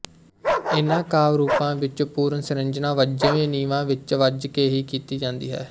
ਇਹਨਾਂ ਕਾਵਿ ਰੂਪਾਂ ਵਿਚ ਪੁਨਰ ਸਿਰਜਣਾ ਬੱਝਵੇਂ ਨਿਯਮਾਂ ਵਿਚ ਬੱਝ ਕੇ ਹੀ ਕੀਤੀ ਜਾਂਦੀ ਹੈ